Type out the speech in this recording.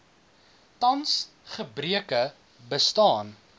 tans gebreke bestaan